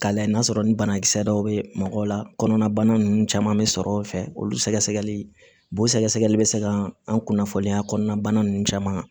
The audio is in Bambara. K'a lajɛ n'a sɔrɔ ni banakisɛ dɔw bɛ mɔgɔw la kɔnɔnabana ninnu caman bɛ sɔrɔ o fɛ olu sɛgɛsɛgɛli b'o sɛgɛsɛgɛli bɛ se ka an kunnafoniya kɔnɔna ninnu caman